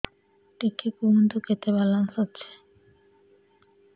ଟିକେ କୁହନ୍ତୁ କେତେ ବାଲାନ୍ସ ଅଛି